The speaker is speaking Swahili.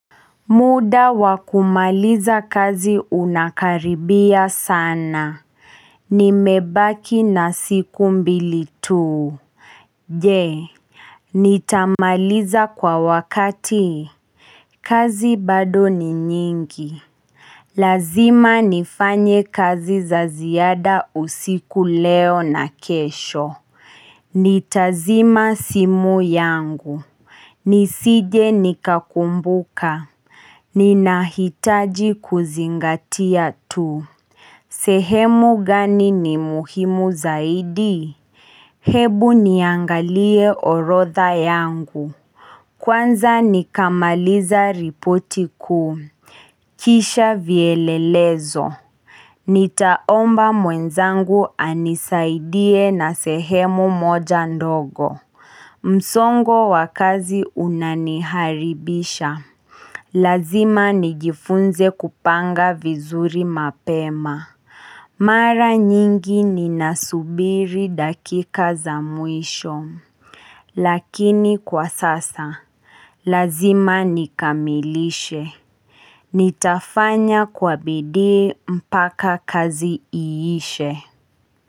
Muda wakumaliza kazi unakaribia sana. Nimebaki na siku mbili tuu. Je, nitamaliza kwa wakati? Kazi bado ni nyingi. Lazima nifanye kazi za ziada usiku leo na kesho. Nitazima simu yangu. Nisije nikakumbuka. Ninahitaji kuzingatia tu. Sehemu gani ni muhimu zaidi? Hebu niangalie orodha yangu. Kwanza nikamaliza ripoti kuu. Kisha vielelezo. Nitaomba mwenzangu anisaidie na sehemu moja ndogo. Msongo wa kazi unaniharibisha. Lazima nigifunze kupanga vizuri mapema Mara nyingi ninasubiri dakika za mwisho Lakini kwa sasa lazima nikamilishe. Nitafanya kwa bidii mpaka kazi iishe.